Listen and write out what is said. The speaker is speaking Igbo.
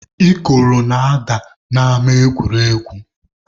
Ikoro na-ada n'ama egwuregwu.